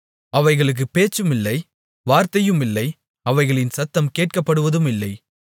அவைகளுக்குப் பேச்சுமில்லை வார்த்தையுமில்லை அவைகளின் சத்தம் கேட்கப்படுவதுமில்லை